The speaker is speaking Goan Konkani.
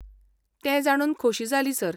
तें जाणून खोशी जाली, सर.